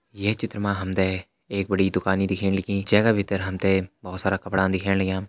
ये चित्र मा हम तें एक बड़ी दुकानि दिखेण लगी जे का भितर हम तें भोत सारा कपड़ा दिखेण लग्यां।